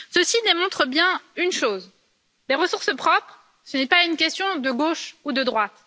Ceci démontre bien une chose les ressources propres, ce n'est pas une question de gauche ou de droite.